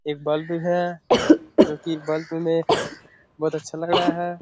एक बल्ब भी है जो कि एक बल्ब में बहोत अच्छा लग रहा है।